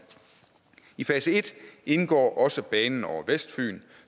i fase en indgår også banen over vestfyn